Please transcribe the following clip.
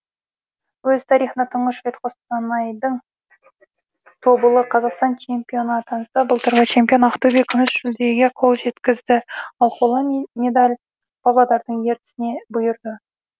өз тарихында тұңғыш рет қостанайдаң тобылы қазақстан чемпионы атанса былтырғы чемпион ақтөбе күміс жүлдеге қол жеткізді ал қола медель павлодардың ертісіне бұйырды